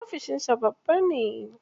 Ofishin sa babba ne.